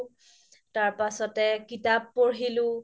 তাৰ পাছ্তে কিতাপ পঢ়িলো